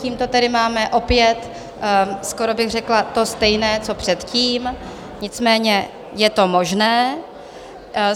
Tímto tedy máme opět skoro bych řekla to stejné, co předtím, nicméně je to možné.